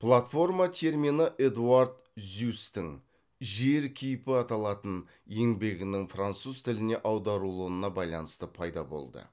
платформа термині эдуард зюсстің жер кейпі аталатын еңбегінің француз тіліне аударылуына байланысты пайда болды